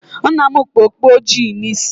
Nna m kpu okpu ojii n'isi